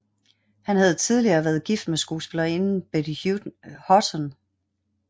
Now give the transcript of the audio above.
Han havde tidligere været gift med skuespillerinden Betty Hutton